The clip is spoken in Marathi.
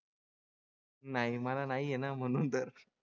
नाही मला नाही आहे ना म्हणून तर.